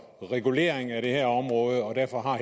regulering af det her område og derfor